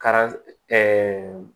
Ka